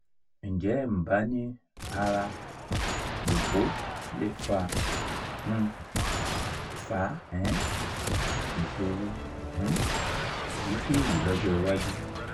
ǹjẹ́ nbani ara lopo le fa um fa um ìṣòro um èyíkéyìí lọ́jọ́ iwájú?